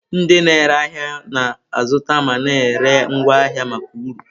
Ndị na-ere ahịa na-azụta ma na-ere ngwa ahịa maka uru.